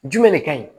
Jumɛn de kaɲi